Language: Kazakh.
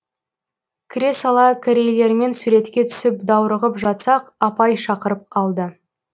кіре сала корейлермен суретке түсіп даурығып жатсақ апай шақырып алды